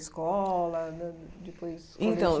Escola, de depois Então